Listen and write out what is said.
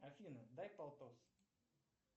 афина дай полтос